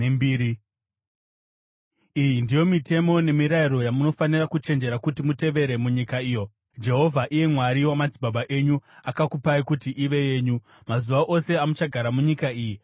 Iyi ndiyo mitemo nemirayiro yamunofanira kuchenjera kuti mutevere munyika iyo Jehovha, iye Mwari wamadzibaba enyu, akakupai kuti ive yenyu, mazuva ose amuchagara munyika iyi.